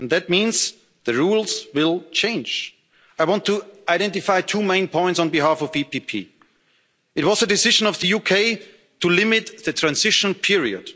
And that means the rules will change. I want to identify two main points on behalf of the EPP. It was the decision of the UK to limit the transition